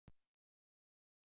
Gullverð í nýjum hæðum